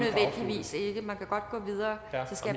stille det man kan godt gå videre